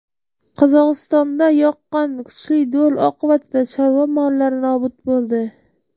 Qozog‘istonda yoqqan kuchli do‘l oqibatida chorva mollari nobud bo‘ldi .